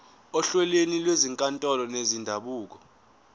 ohlelweni lwezinkantolo zendabuko